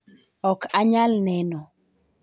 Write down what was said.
ok anyal neno.